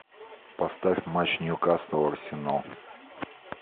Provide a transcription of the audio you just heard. поставь матч ньюкасл арсенал